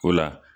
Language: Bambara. O la